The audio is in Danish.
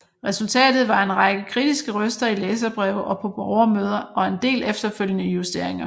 Resultatet var en række kritiske røster i læserbreve og på borgermøder og en del efterfølgende justeringer